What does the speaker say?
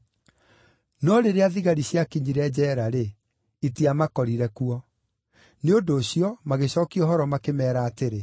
No rĩrĩa thigari ciakinyire njeera-rĩ, itiamakorire kuo. Nĩ ũndũ ũcio, magĩcookia ũhoro makĩmeera atĩrĩ,